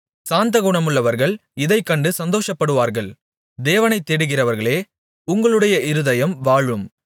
சாந்தகுணமுள்ளவர்கள் இதைக் கண்டு சந்தோஷப்படுவார்கள் தேவனைத் தேடுகிறவர்களே உங்களுடைய இருதயம் வாழும்